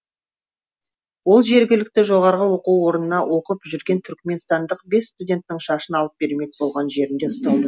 ол жергілікті жоғарғы оқу орынында оқып жүрген түркіменстандық бес студенттің шашын алып бермек болған жерінде ұсталды